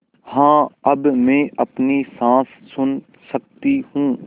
हाँ अब मैं अपनी साँस सुन सकती हूँ